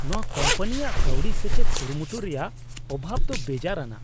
ᱱᱚᱶᱟ ᱠᱳᱢᱯᱟᱱᱤᱭᱟᱜ ᱠᱟᱹᱣᱰᱤ ᱥᱮᱪᱮᱫ ᱠᱩᱨᱩᱢᱩᱴᱩ ᱨᱮᱭᱟᱜ ᱚᱵᱷᱟᱵᱽ ᱫᱚ ᱵᱮᱡᱟᱨᱟᱱᱟᱜ ᱾